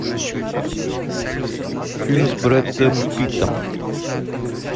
фильм с брэдом питтом